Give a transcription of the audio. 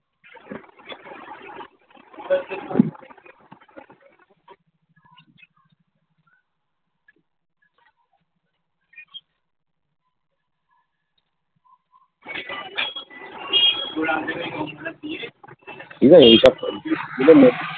ঠিকআছে এইসব .